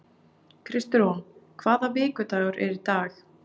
Kristrún, hvaða vikudagur er í dag?